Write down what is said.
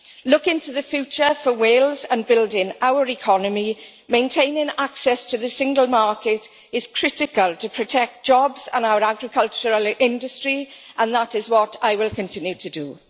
Looking to the future for Wales and building our economy, maintaining access to the single market is critical to protect jobs and our agricultural industry and that is what I will continue to do.